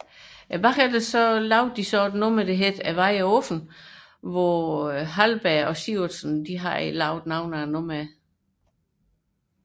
Herefter udgav de albummet Vejen Er Åben hvor Poul Halberg og Jan Sivertsen havde produceret nogle af numrene